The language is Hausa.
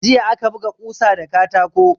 Jiya aka buga kusa da katako.